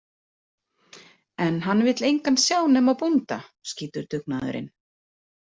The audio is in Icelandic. En hann vill engan sjá nema bónda, skýtur Dungaður inn.